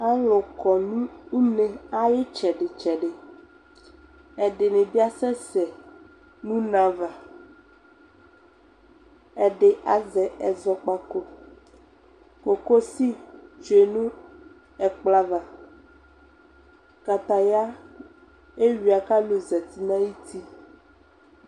alo kɔ no une ayo itsɛdi tsɛdi ɛdini bi asɛ sɛ no une ava ɛdi azɛ ɛzɔkpako kokosi tsue no ɛkplɔ ava kataya ewuia ko alo zati no ayiti